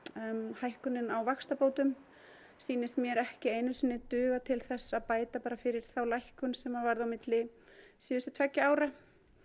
hækkunin á vaxtabótum sýnist mér ekki einu sinni duga til þess að bæta fyrir þá lækkun sem varð milli síðustu tveggja ára